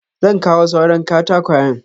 Zan kawo suran katakwayen.